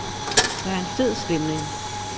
Der er en fed stemning.